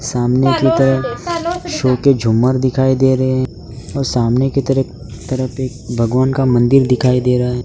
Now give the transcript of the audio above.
सामने की तरफ शो के झूमर दिखाई दे रहे हैं और सामने की तरफ तरफ एक भगवान का मंदिर दिखाई दे रहा है।